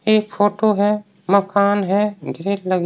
एक फोटो है मकान है भीड़ लगी --